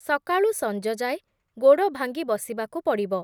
ସକାଳୁ ସଞ୍ଜଯାଏ ଗୋଡ଼ ଭାଙ୍ଗି ବସିବାକୁ ପଡ଼ିବ ।